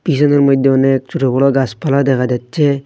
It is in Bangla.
পিছনের মধ্যে অনেক ছোট বড়ো গাছপালা দেখা যাচ্ছে।